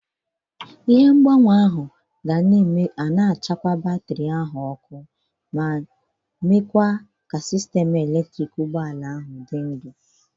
Ihe ngbanwe ahụ ga-ana batrị ma nyekwa sistemu eletriki ụgbọ ala.